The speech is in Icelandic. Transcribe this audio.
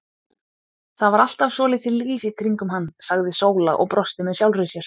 Það var alltaf svolítið líf í kringum hann, sagði Sóla og brosti með sjálfri sér.